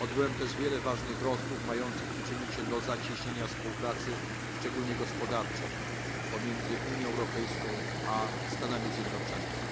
Odbyłem też wiele ważnych rozmów mających się przyczynić do zacieśnienia współpracy, szczególnie gospodarczej, pomiędzy Unią Europejską a Stanami Zjednoczonymi.